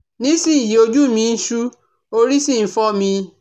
Nísinyìí, ojú mi ń ṣú orí sì ń fọ́ mi